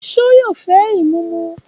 Ṣé yóò fẹ ìmúmu?